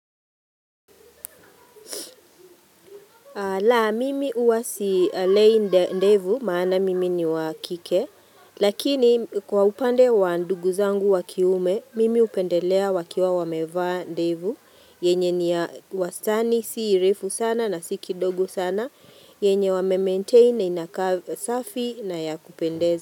La, mimi huwa simei ndevu, maana mimi ni wa kike, lakini kwa upande wa ndugu zangu wa kiume, mimi upendelea wakiwa wameva ndevu, yenye ni ya wastani, si refu sana na si kidogo sana, yenye wamemaintain na inakaa safi na ya kupendeza.